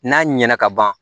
N'a ɲɛna kaban